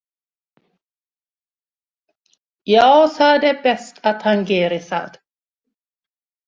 Já það er best að hann geri það.